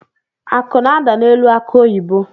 Akụ na-ada n’elu akụ oyibo